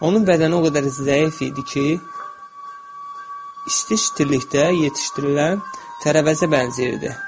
Onun bədəni o qədər zəif idi ki, isti-istilikdə yetişdirilən tərəvəzə bənzəyirdi.